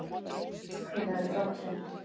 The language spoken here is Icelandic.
Hvenær er drátturinn?